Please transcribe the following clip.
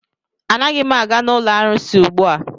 Anaghị m aga n'ụlọ arụsị ugbua.